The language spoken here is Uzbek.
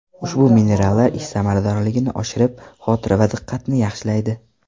Ushbu minerallar ish samaradorligini oshirib, xotira va diqqatni yaxshilaydi.